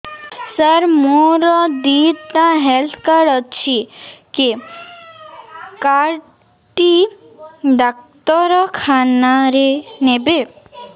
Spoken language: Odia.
ସାର ମୋର ଦିଇଟା ହେଲ୍ଥ କାର୍ଡ ଅଛି କେ କାର୍ଡ ଟି ଡାକ୍ତରଖାନା ରେ ନେବେ